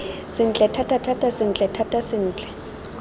sentle thatathata sentle thata sentle